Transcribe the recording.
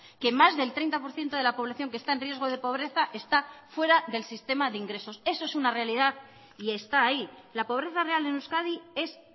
que más del treinta por ciento de la población que está en riesgo de pobreza está fuera del sistema de ingresos eso es una realidad y está ahí la pobreza real en euskadi es